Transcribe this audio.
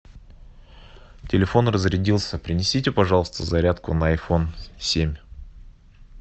телефон разрядился принесите пожалуйста зарядку на айфон семь